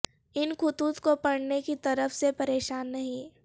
ان خطوط کو پڑھنے کی طرف سے پریشان نہیں